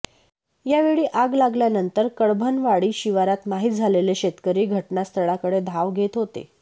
यावेळी आग लागल्यानंतर कडभनवाडी शिवारात माहीत झालेले शेतकरी घटनास्थळाकडे धाव घेत होते